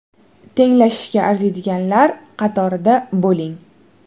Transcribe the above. Tenglashishga arziydiganlar qatorida bo‘ling.